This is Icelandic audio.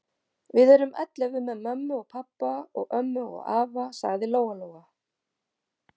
Við erum ellefu með mömmu og pabba og ömmu og afa, sagði Lóa-Lóa.